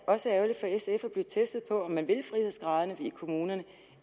også ærgerligt for sf at blive testet på om man vil frihedsgraderne i kommunerne